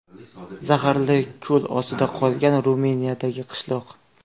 Zaharli ko‘l ostida qolgan Ruminiyadagi qishloq .